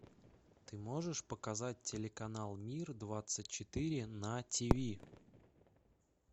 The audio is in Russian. ты можешь показать телеканал мир двадцать четыре на ти ви